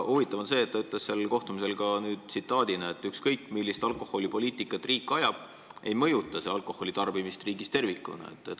Huvitav on see, et ta ütles seal kohtumisel ka, et ükskõik, millist alkoholipoliitikat riik ajab, ei mõjuta see alkoholitarbimist riigis tervikuna.